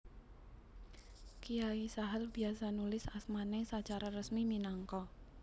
Kiai Sahal biasa nulis asmané sacara resmi minangka